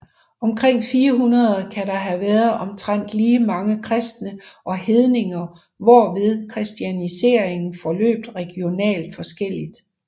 Omkring 400 kan der have været omtrent lige mange kristne og hedninger hvorved kristianiseringen forløb regionalt forskelligt